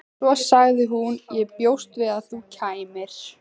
Svo sagði hún: Ég bjóst við að þú kæmir.